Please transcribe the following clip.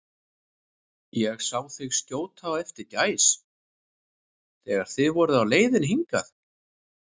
Ég sá þig skjóta á eftir gæs, þegar þið voruð á leiðinni hingað